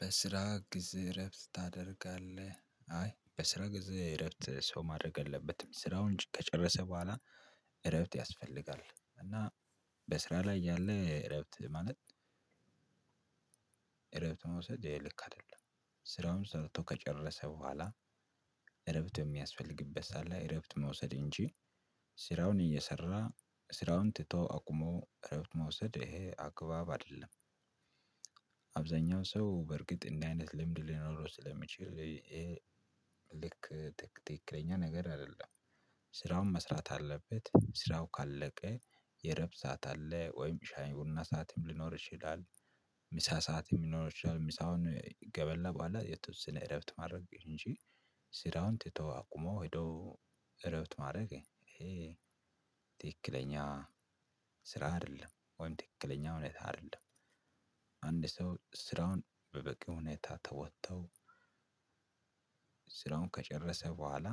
በስራ ጊዜ እረፍት ታደርጋለህ አይ በስራ ጊዜ እረፍት ሰው ማድረግ የለበትም ስራውን ከጨረሰ በኋላ እረፍት ያስፈልጋል። እና በስራ ላይ እያለ እረፍት ማለት እረፍት መውሰድ ልክ አይደለም። ስራውን ሰርቶ ከጨረሰ በኋላ እረፍት የሚያስፈልግበት ሰዓት ላይ እረፍት መውሰድ እንጂ ስራውን እየሰራ ስራውን ትቶ አቁሞ እረፍት መውሰድ ይሄ አግባብ አይደለም። አብዛኛው ሰው በእርግጥ እንዲህ አይነት ልምድ ሊኖረው ስለሚችል ልክ ትክክለኛ ነገር አይደለም። ስራውን መስራት አለበት። ስራው ካለቀ የእረፍት ሰዓት አለ። ወይም ሻይ ቡና ሰዓትም ሊኖር ይችላል። ምሳ ሰዓትም ሊኖር ይችላል። ምሳውን ከበላ በኋላ የተወሰነ እረፍት ማድረግ እንጂ ስራውን ትቶ አቁሞ ሄዶ እረፍት ማድረግ ይሄ ትክክለኛ ስራ አይደለም። ወይም ትክክለኛ ሁኔታ አይደለም። አንድ ሰው ስራውን በበቂ ሁኔታ ተወጥተው ስራውን ከጨረሰ በኋላ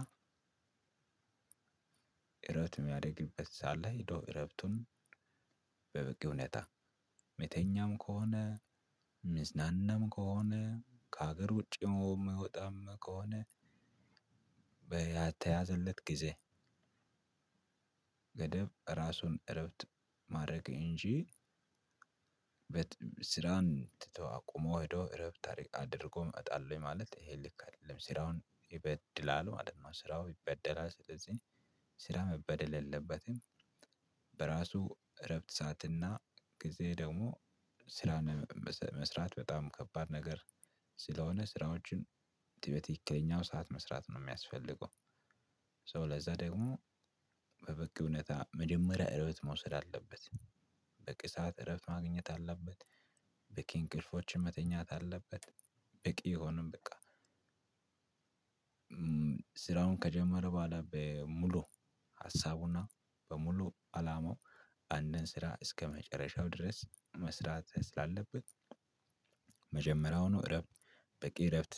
እረፍት የሚያደርግበት ሰዓት ላይ ሂዶ እረፍቱን በበቂ ሁኔታ ሚተኛም ከሆነ ሚዝናናም ከሆነ ከሀገር ውጪም የሚወጣም ከሆነ በያተያዘለት ጊዜ ገደብ ራሱን እረፍት ማድረግ እንጂ ስራን ትቶ አቁሞ ሂዶ እረፍት አር አድርጎ እመጣለው ማለት ይሄ ልክ አይደለም። ስራውን ይበድላል ማለት ነው። ስራው ይበደላል። ስለዚህ ስራ መበደል የለበትም። በራሱ እረፍት ሰዓትና ጊዜ ደግሞ ስራን መስ መስራት በጣም ከባድ ነገር ስለሆነ ስራዎችን ት በትክክለኛው ሰዓት መስራት ነው የሚያስፈልገው። ሶ ለዛ ደግሞ በበቂ ሁኔታ መጀመሪያ እረፍት መውሰድ አለበት። በቂ ሰዓት እረፍት ማግኘት አለበት። በቂ እንቅልፎችን መተኛት አለበት። በቂ የሆነም በቃ ስራውን ከጀመረ በኋላ በሙሉ ሀሳቡና በሙሉ አላማው አንድን ስራ እስከመጨረሻው ድረስ መስራት ስላለበት መጀመሪያውኑ እረፍት በቂ እረፍት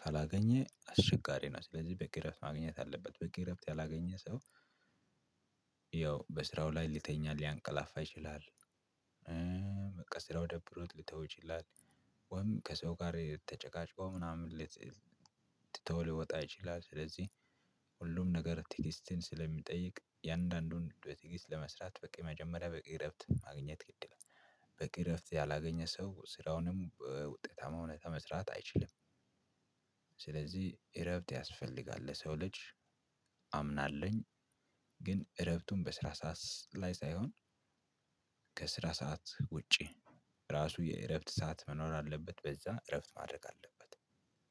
ካላገኘ አስቸጋሪ ነው። ስለዚህ በቂ እረፍት ማግኘት አለበት። በቂ እረፍት ያላገኘ ሰው ያው በስራው ላይ ሊተኛ ሊያንቀላፋ ይችላል። ስራው ደብሮት ሊተው ይችላል። ወይም ከሰው ጋር ተጨቃጭቆ ምናምን ትቶ ሊወጣ ይችላል። ስለዚህ ሁሉም ነገር ትዕግስትን ስለሚጠይቅ የእያንዳንዱን በትዕስት ለመስራት በቃ የመጀመሪያ በቂ እረፍት ማግኘት ግድ ይላል። በቂ እረፍት ያላገኘ ሰው ስራውንም በውጤታማነት መስራት አይችልም። ስለዚህ እረፍት ያስፈልጋል ለሰው ልጅ። አምናለኝ ግን እረፍቱን በስራ ሰዓት ላይ ሳይሆን ከስራ ሰዓት ውጪ ራሱ የእረፍት ሰዓት መኖር አለበት። በዛ እረፍት ማድረግ አለበት።